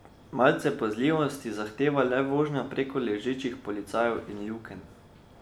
Malce pazljivosti zahteva le vožnja prek ležečih policajev in lukenj.